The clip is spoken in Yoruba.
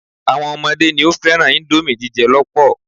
Àwọn ọmọdé ni ó fẹ́ràn íńdómì jíjẹ lọ́pọ̀.